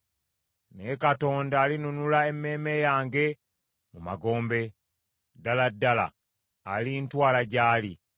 Naye Katonda alinunula emmeeme yange mu magombe, ddala ddala alintwala gy’ali.